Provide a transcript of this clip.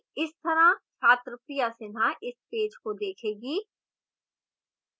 इस तरह छात्र priya sinha इस पेज को देखेगी